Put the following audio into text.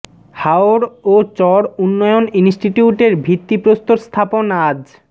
হাওর ও চর উন্নয়ন ইনস্টিটিউটের ভিত্তি প্রস্তর স্থাপন আজ